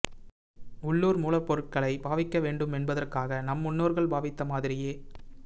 உள்ளூர் மூலப்பொருட்களைப் பாவிக்க வேண்டுமென்பதற்காக நம் முன்னோர்கள் பாவித்த மாதிரியே